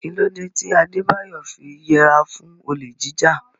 Kí ló dé tí Adebayo fi yẹra fún olè jíjà?